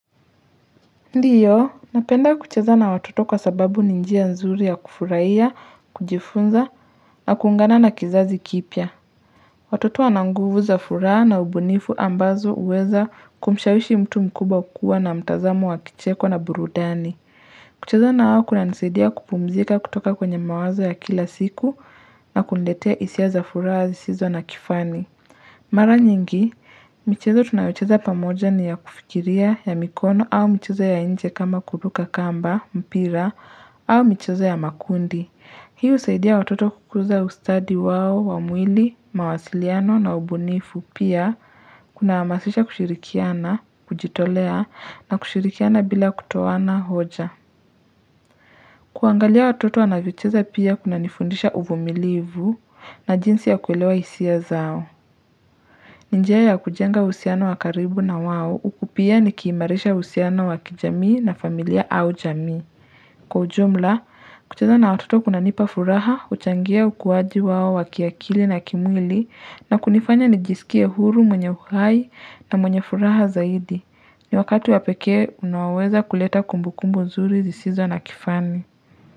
Ndiyo, napenda kucheza na watoto kwa sababu ni njia nzuri ya kufurahia, kujifunza na kuungana na kizazi kipya. Watoto wana nguvu za furaha na ubunifu ambazo huweza kumshawishi mtu mkubwa kukua na mtazamo wa kicheko na burudani. Kucheza nao kunanisaidia kupumzika kutoka kwenye mawazo ya kila siku na kuniletea hisia za furaha zisizo na kifani. Mara nyingi, michezo tunayocheza pamoja ni ya kufikiria ya mikono au michezo ya nje kama kuruka kamba, mpira, au michezo ya makundi. Hii husaidia watoto kukuza ustadi wao wa mwili, mawasiliano na ubunifu, pia kunahamasisha kushirikiana, kujitolea na kushirikiana bila kutoana hoja. Kuangalia watoto wanavyocheza pia kunanifundisha uvumilivu na jinsi ya kuelewa hisia zao. Ni njia ya kujenga uhusiano wa karibu na wao, huku pia nikiimarisha uhusiano wa kijamii na familia au jamii. Kwa ujumla, kucheza na watoto kunanipa furaha, kuchangia ukuaji wao wa kiakili na kimwili, na kunifanya nijisikie huru mwenye uhai na mwenye furaha zaidi. Ni wakati wa pekee, unaoweza kuleta kumbukumbu nzuri zisizo na kifani.